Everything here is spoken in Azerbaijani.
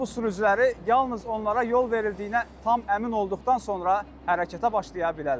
Avtobus sürücüləri yalnız onlara yol verildiyinə tam əmin olduqdan sonra hərəkətə başlaya bilərlər.